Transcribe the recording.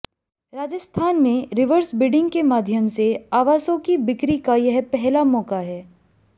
राजस्थान में reverse bidding के माध्यम से आवासों की बिक्री का यह पहला मौका है